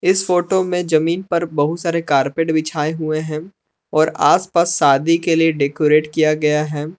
इस फोटो में जमीन पर बहुत सारे कारपेट बिछाए हुए हैं और आसपास शादी के लिए डेकोरेट किया गया है।